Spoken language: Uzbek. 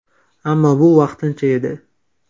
Ammo bu vaqtincha edi.